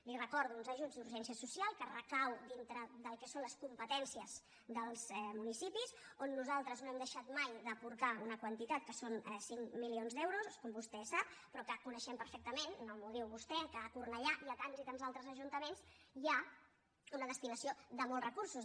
li ho recordo uns ajuts d’urgència social que recauen dintre del que són les competències dels municipis on nosaltres no hem deixat mai d’aportar una quantitat que són cinc milions d’euros com vostè sap però que coneixem perfectament no m’ho diu vostè que a cornellà i a tants i tants altres ajuntaments hi ha una destinació de molts recursos